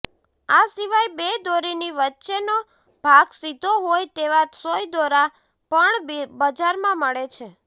આ સિવાય બે દોરીની વચ્ચેનો ભાગ સીધો હોય તેવા સોય દોરા પણ બજારમાં મળે છે